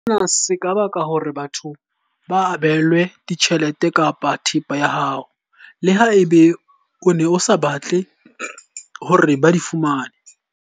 Sena se ka baka hore batho ba abelwe tjhelete kapa thepa ya hao, leha ebe o ne o sa batle hore ba di fumane.